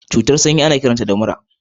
Cutar sanyi kuma ana kiranta da mura a Najeriya